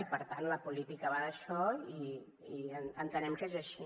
i per tant la política va d’això i entenem que és així